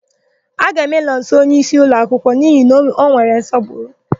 A ga-eme Nọnso onyeísí ụmụakwụkwọ n'ihi na ọ nwere nsọpụrụ.